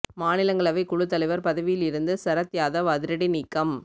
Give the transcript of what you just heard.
மாநிலங்களவை குழுத் தலைவர் பதவியில் இருந்து சரத் யாதவ் அதிரடி நீக்கம்